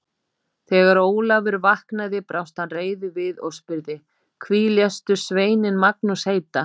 Þegar Ólafur vaknaði brást hann reiður við og spurði: Hví léstu sveininn Magnús heita?